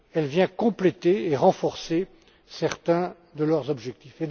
Elle vient compléter et renforcer certains de leurs objectifs.